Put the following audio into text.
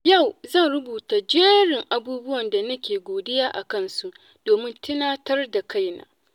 Yau zan rubuta jerin abubuwan da nake godiya a kansu domin tunatar da kaina.